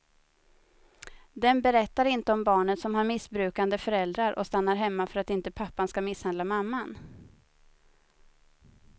Den berättar inte om barnet som har missbrukande föräldrar och stannar hemma för att inte pappan ska misshandla mamman.